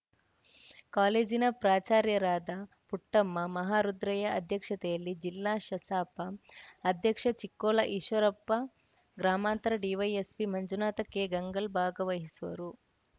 ಕಾಲೇಜಿನ ಪ್ರಾಚಾರ್ಯರಾದ ಪುಟ್ಟಮ್ಮ ಮಹಾರುದ್ರಯ್ಯ ಅಧ್ಯಕ್ಷತೆಯಲ್ಲಿ ಜಿಲ್ಲಾ ಶಸಾಪ ಅಧ್ಯಕ್ಷ ಚಿಕ್ಕೋಳ ಈಶ್ವರಪ್ಪ ಗ್ರಾಮಾಂತರ ಡಿವೈಎಸ್‌ಪಿ ಮಂಜುನಾಥ ಕೆ ಗಂಗಲ್‌ ಭಾಗವಹಿಸುವರು